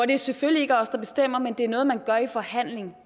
det er selvfølgelig ikke os der bestemmer men det er noget man gør i en forhandling